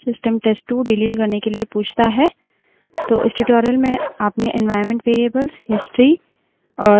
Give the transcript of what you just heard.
तो हमने देखा कि जब test1 डिलीट हो जाता है system test2 डिलीट करने से पहले पूछता है